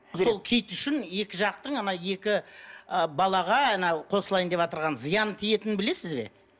сол киіт үшін екі жақтың ана екі ы балаға анау қосылайын деватырған зиянын тиетінін білесіз бе